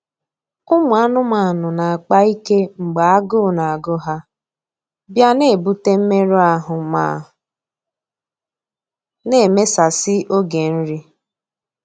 Ụmụ anụmanụ na-akpa ike mgbe agụụ na-agụ ha, bịa na-ebute mmerụ ahụ ma na emesasị oge nri.